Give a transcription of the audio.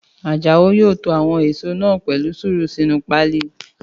Àjàó yóò to àwọn èèso náà pẹ̀lú sùúrù sínu páálí